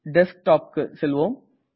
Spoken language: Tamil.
Desktopக்கு செல்வோம்